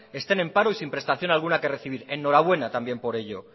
estén en paro y sin prestación alguna que percibir enhorabuena también por ello